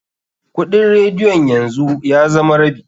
Kuɗin radiyon yanzu ya zama rabi.